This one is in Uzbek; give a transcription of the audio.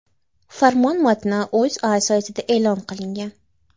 Farmon matni O‘zA saytida e’lon qilingan .